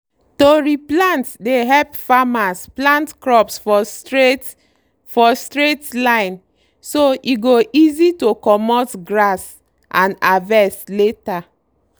to re plant dey help farmers plant crops for straight for straight line so e go easy to comot grass and harvest later.